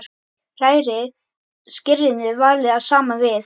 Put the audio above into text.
Hrærið skyrinu varlega saman við.